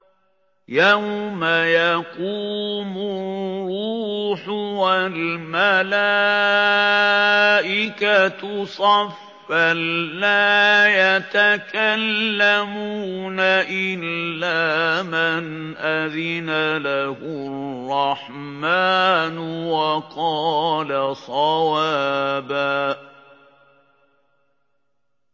يَوْمَ يَقُومُ الرُّوحُ وَالْمَلَائِكَةُ صَفًّا ۖ لَّا يَتَكَلَّمُونَ إِلَّا مَنْ أَذِنَ لَهُ الرَّحْمَٰنُ وَقَالَ صَوَابًا